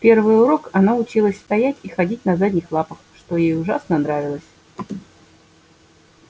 в первый урок она училась стоять и ходить на задних лапах что ей ужасно нравилось